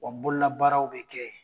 Wa bololabaaraw bɛ kɛ yen.